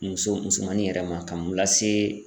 Muso musomannin yɛrɛ ma k'a n'o lase